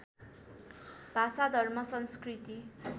भाषा धर्म संस्कृति